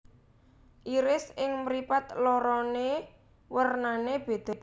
Iris ing mripat lorone wernane bedha